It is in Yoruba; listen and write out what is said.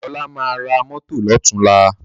Ọlá máa ra mọ́tọ̀ lọ́tùnla